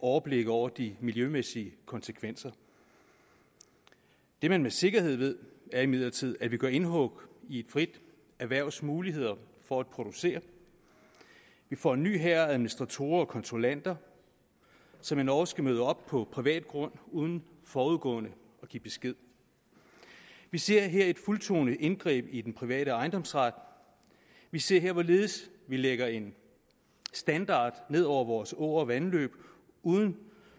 overblik over de miljømæssige konsekvenser det man med sikkerhed ved er imidlertid at vi gør indhug i et frit erhvervs muligheder for at producere vi får en ny hær af administratorer og kontrollanter som endog skal møde op på privat grund uden forudgående at give besked vi ser her et fuldtonet indgreb i den private ejendomsret vi ser her hvorledes vi lægger en standard ned over vore åer og vandløb